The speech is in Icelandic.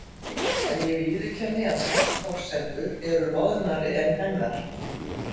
En ég viðurkenni að hans forsendur eru loðnari en hennar.